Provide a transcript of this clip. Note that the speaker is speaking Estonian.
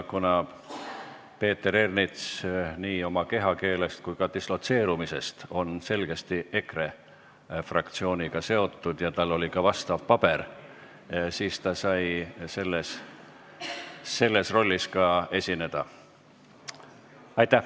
Kuna Peeter Ernits on nii oma kehakeele kui ka dislotseerumise poolest selgesti EKRE fraktsiooniga seotud ja tal oli ka vastav paber, siis ta saigi selles rollis esineda.